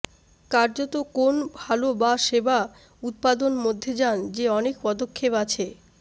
কার্যত কোন ভাল বা সেবা উত্পাদন মধ্যে যান যে অনেক পদক্ষেপ আছে